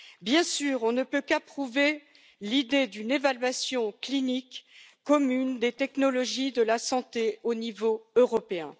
Bien sûr, on ne peut qu'approuver l'idée d'une évaluation clinique commune des technologies de la santé au niveau européen.